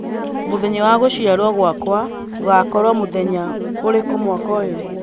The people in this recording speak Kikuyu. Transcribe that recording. mūthenya wa guciarwo gwakwa ūgakorwo muthenya ūriku mwaka ūyu